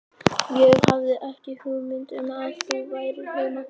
Ég hafði ekki hugmynd um að þú værir heima